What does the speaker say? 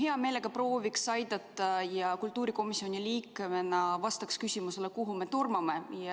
Ma hea meelega prooviks aidata ja kultuurikomisjoni liikmena vastaks küsimusele, kuhu me tormame.